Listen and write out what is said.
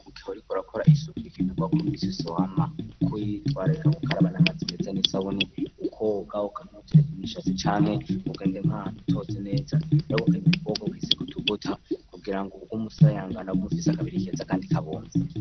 Mugihe riko rakora isuku bikenerwa ko nisosowama kuyi twararika kukaraba n'amazi mete n'esawuni ukogak ntutereka imishaco canke kugenda inkantu totse neza iragukaniwe kubogo kwisi kutuvuta kugira ngo ukumusayangana g umufisa kabiri keza kandi kabomvye.